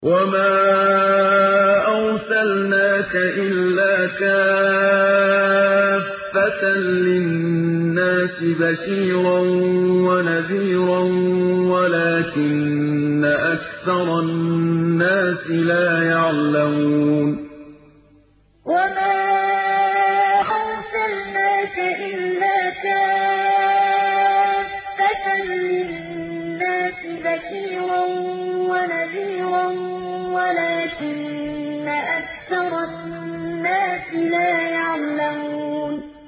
وَمَا أَرْسَلْنَاكَ إِلَّا كَافَّةً لِّلنَّاسِ بَشِيرًا وَنَذِيرًا وَلَٰكِنَّ أَكْثَرَ النَّاسِ لَا يَعْلَمُونَ وَمَا أَرْسَلْنَاكَ إِلَّا كَافَّةً لِّلنَّاسِ بَشِيرًا وَنَذِيرًا وَلَٰكِنَّ أَكْثَرَ النَّاسِ لَا يَعْلَمُونَ